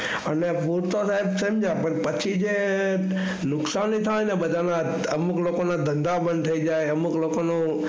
અને હું તો જેમ પછી નુકસાને થાય બધાને અને અમુક લોકોને ધંધા બંધ થઇ જાય અને અમુક લોકોને.